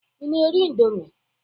Ị na-eri indọmii?